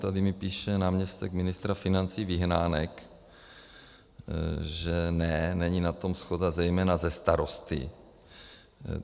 Tady mi píše náměstek ministra financí Vyhnálek, že ne, není na tom shoda, zejména se starosty.